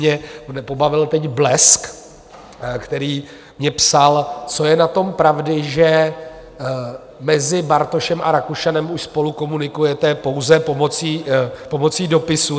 Mě pobavil teď Blesk, který mi psal, co je na tom pravdy, že mezi Bartošem a Rakušanem už spolu komunikujete pouze pomocí dopisů.